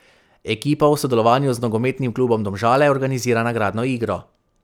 Ekipa v sodelovanju z nogometnim klubom Domžale organizira nagradno igro.